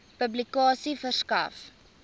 publikasie verskaf